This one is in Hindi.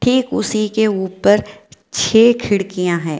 ठीक उसी के ऊपर छह खिड़कियाँ हैं।